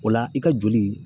O la , i ka joli.